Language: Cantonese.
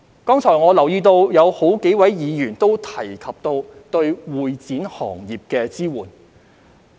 剛才我留意到有數位議員亦提及對會展行業的支援。